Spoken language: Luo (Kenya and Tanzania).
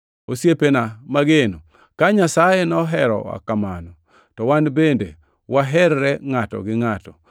Osiepena mageno, ka Nyasaye noherowa kamano, to wan bende waherre ngʼato gi ngʼato.